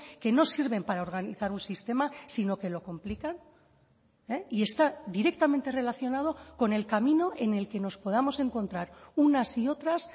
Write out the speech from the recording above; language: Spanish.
que no sirven para organizar un sistema sino que lo complican y está directamente relacionado con el camino en el que nos podamos encontrar unas y otras